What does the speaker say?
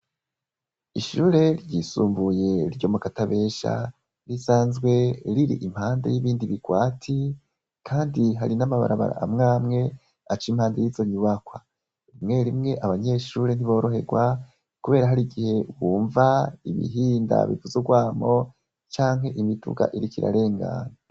Ishure ryisumbuye ryo mukatabesha risanzwe riri Impande y' ibindi bigwati kandi hari n' amabarabara amwe amwe aca impande y' izo nyubakwa rimwe rimwe abanyeshure ntiborohegwa kubera harigihe wumva ibihinda bifise ugwamo canke imiduga iriko irarengana.